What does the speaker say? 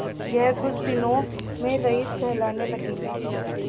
यह कुछ दिनों में रईस कहलाने लगेंगे